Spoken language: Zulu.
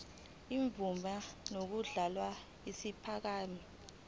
imvume yokudluliselwa yinkampani